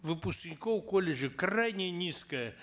выпускников колледжей крайне низкое